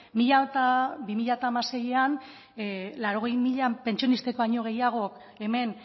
bi mila hamaseian laurogei mila pentsionistek baino gehiago hemen